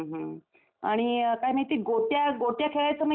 आणि काय माहिती आहे, गोट्या, गोट्या खेळायचो माहितीये गोट्या.